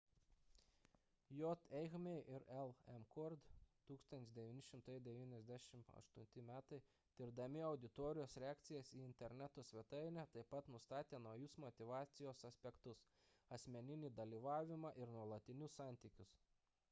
j. eighmey ir l. mccord 1998 m. tirdami auditorijos reakcijas į interneto svetainę taip pat nustatė naujus motyvacijos aspektus – asmeninį dalyvavimą ir nuolatinius santykius